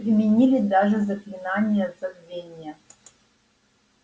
применили даже заклинание забвения